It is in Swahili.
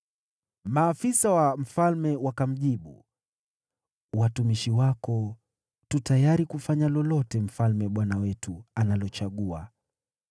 Maafisa wa mfalme wakamjibu, “Watumishi wako tu tayari kufanya lolote mfalme bwana wetu analochagua.”